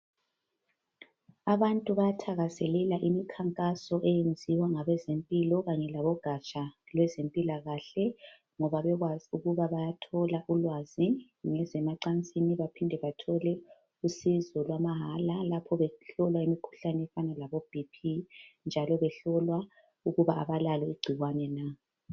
Abantu bayathakazelela imikhankaso eyenziwa ngabezempilo kanye labogaja lwezempilakahle ngoba bekwazi ukuba bayathola ulwazi ngezemacansini baphinde bathole usizo lwamahala lapho behlolwa imikhuhlane efana labo "BP" njalo behlolwa ukuba abalalo igcikwane na.